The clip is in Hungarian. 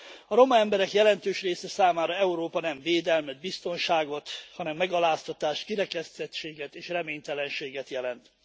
A roma emberek jelentős része számára Európa nem védelmet, biztonságot, hanem megaláztatást, kirekesztettséget és reménytelenséget jelent.